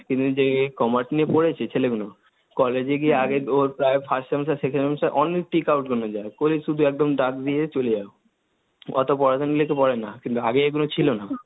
কিন্তু যে Commerce নিয়ে পড়েছে ছেলেগুলো, কলেজে গিয়ে আগে ওর প্রায় First Semester, Second Semester, অনেক যায়, করে শুধু একদম দাগ দিয়ে চলে যাও, অত পড়াশোনা দিলেও তো পড়ে না, কিন্তু আগে এগুলো ছিল না।